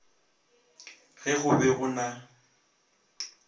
ge go be go na